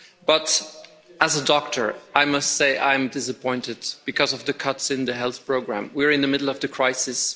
But as a doctor, I must say I am disappointed, because of the cuts in the Health Programme. We are in the middle of the crisis.